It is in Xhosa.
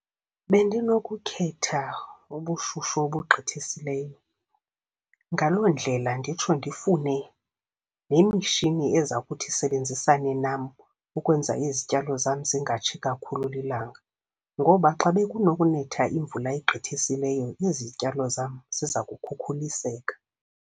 Bendinokukhetha ubushushu obugqithisileyo. Ngaloo ndlela nditsho ndifune nemishini eza kuthi isebenzisane nam ukwenza izityalo zam zingatshi kakhulu lilanga, ngoba xa bekunokunetha imvula egqithisileyo izityalo zam ziza kukhukhuliseka.